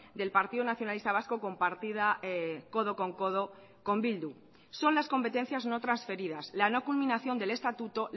del partido nacionalista vasco compartida codo con codo con bildu son las competencias no transferidas la no culminación del estatuto